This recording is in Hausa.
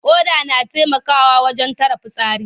Ƙoda na taimakawa wajen tara fitsari.